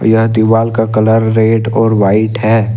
यह दीवाल का कलर रेड और वाइट है।